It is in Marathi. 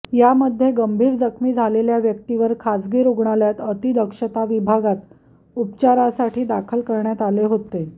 यामध्ये गंभीर जखमी झालेल्या व्यक्तीवर खासगी रुग्णालयाता अतिदक्षता विभागात उपचारासाठी दाखल करण्यात आले होते